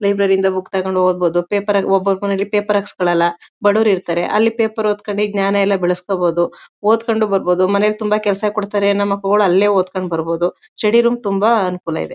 Library ಯಿಂದ book ತಗೊಂಡು ಓದಬಹುದು ಪೇಪರ್ ಲಿ ಒಬ್ಬೊಬ್ಬರು ಪೇಪರ್ ಹಾಕಿಸಿಕೊಳ್ಳಲ್ಲ ಬಡವ್ರು ಇರ್ತಾರೆ ಅಲ್ಲಿ ಪೇಪರ್ ಓದಿ ಜ್ಞಾನ ಎಲ್ಲ ಬೆಳೆಸ್ಕೊಬಹುದು ಓದ್ ಕೊಂಡು ಬರ್ಬಹುದು ಮನೇಲಿ ತುಂಬಾ ಕೆಲಸ ಕೊಡ್ತಾರೆ ಎನ್ನೋ ಮಕ್ಕಳು ಅಲ್ಲೇ ಓದಿಕೊಂಡು ಬರ್ಬಹುದು ಸ್ಟಡಿ ರೂಮ್ ತುಂಬಾ ಅನುಕೂಲ ಇದೆ.